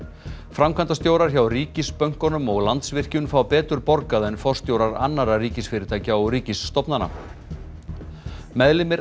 framkvæmdastjórar hjá ríkisbönkunum og Landsvirkjun fá betur borgað en forstjórar annarra ríkisfyrirtækja og ríkisstofnana meðlimir